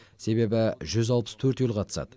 себебі жүз алпыс төрт ел қатысады